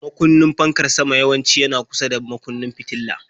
Makunnin fankar sama yawanci yana kusa da makunnin fitila.